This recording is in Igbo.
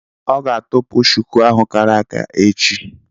Ọ gá atọpu shuku ahụ kàrà àkà echi